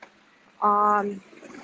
ааа